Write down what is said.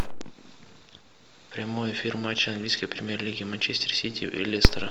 прямой эфир матча английской премьер лиги манчестер сити и лестера